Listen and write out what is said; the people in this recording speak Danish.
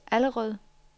Allerød